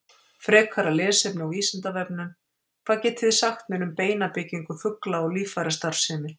Frekara lesefni á Vísindavefnum: Hvað getið þið sagt mér um beinabyggingu fugla og líffærastarfsemi?